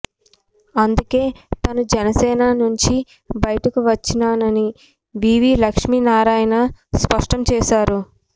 అందుకే తాను జనసేన నుంచి బయటకు వచ్చానని వీవీ లక్ష్మీ నారాయణ స్పష్టం చేశారు